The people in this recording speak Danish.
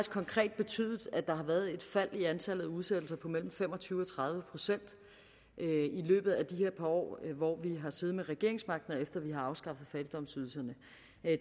konkret betydet at der har været et fald i antallet af udsættelser på mellem fem og tyve procent og tredive procent i løbet af de her par år hvor vi har siddet med regeringsmagten og efter at vi har afskaffet fattigdomsydelserne